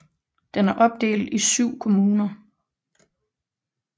Den er opdelt i 7 kommuner